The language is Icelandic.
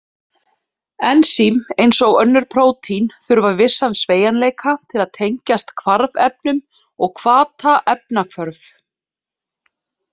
Ensím, eins og önnur prótín, þurfa vissan sveigjanleika til að tengjast hvarfefnum og hvata efnahvörf.